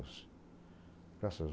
Graças